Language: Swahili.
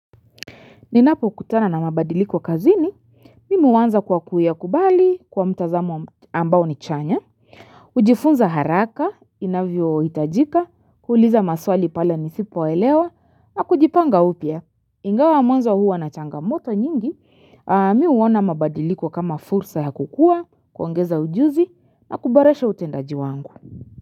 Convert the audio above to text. Ninapokutana na mabadiliko kazini, mimi huanza kwa kuyakubali kwa mtazamu ambao ni chanya. Hujifunza haraka, inavyoitajika, kuuliza maswali pale nisipoelewa, na kujipanga upya. Ingawa mwanzo huwa na changamoto nyingi, mi huona mabadiliko kama fursa ya kukua, kuongeza ujuzi, na kuboresha utendaji wangu.